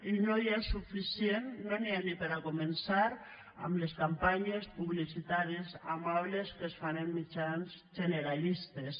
i no n’hi ha ni per a començar amb les campanyes publicitàries amables que es fan en mitjans generalistes